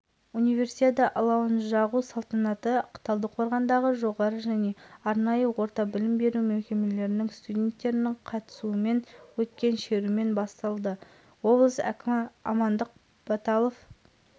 талдықорғанда универсиада алау эстафетасы салтанатты рәсіміне мың адам қатысты алау спортшылар бүркітшілер оқушылар студенттер спортсүйер қауымның